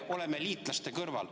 ... oleme liitlaste kõrval.